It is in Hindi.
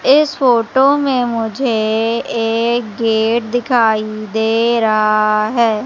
इस फोटो में मुझे एक गेट दिखाई दे रहा है।